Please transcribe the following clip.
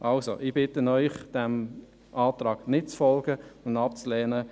Ich bitte Sie, diesem Antrag nicht zu folgen und ihn abzulehnen.